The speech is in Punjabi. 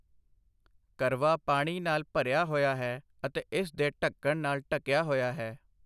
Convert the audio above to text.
ਕਰਵਾ ਪਾਣੀ ਨਾਲ ਭਰਿਆ ਹੋਇਆ ਹੈ ਅਤੇ ਇਸ ਦੇ ਢੱਕਣ ਨਾਲ ਢੱਕਿਆ ਹੋਇਆ ਹੈ।